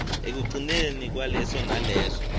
ekugcineni kwaleso naleso